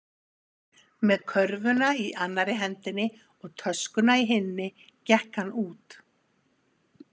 Með körfuna í annarri hendinni og töskuna í hinni gekk hann út.